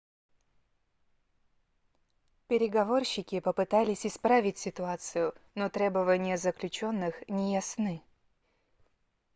переговорщики попытались исправить ситуацию но требования заключённых не ясны